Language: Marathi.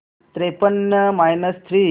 त्रेपन्न मायनस थ्री